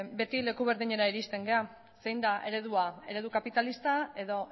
beti leku berdinera iristen gara zein da eredua eredu kapitalista edo